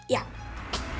já